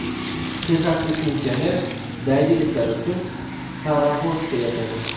Texaslik pensioner daydi itlar uchun parovozcha yasadi.